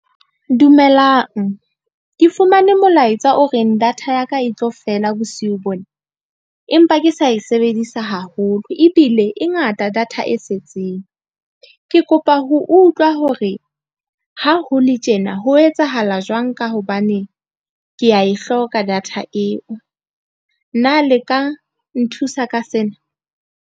Dumelang ke fumane molaetsa o reng. data ya ka e tlo fela bosiu bona, empa ke sa e sebedisa haholo ebile e ngata data e setseng. Ke kopa ho utlwa hore ha ho le tjena ho etsahala jwang ka hobane ke a e hloka data eo, nna le ka nthusa ka sena?